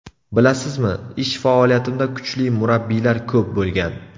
Bilasizmi, ish faoliyatimda kuchli murabbiylar ko‘p bo‘lgan.